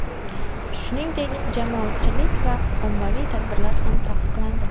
Shuningdek, jamoatchilik va ommaviy tadbirlar ham taqiqlandi.